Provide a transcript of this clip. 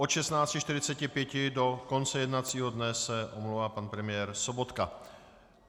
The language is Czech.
Od 16.45 do konce jednacího dne se omlouvá pan premiér Sobotka.